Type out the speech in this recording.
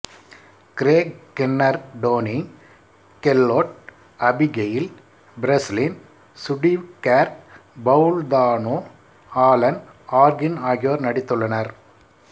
Craig Kinnear Toni Collette Abigail Breslin Steve Carell Paul Dano Alan Arkin ஆகியோர் நடித்துள்ளனர்